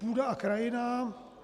Půda a krajina.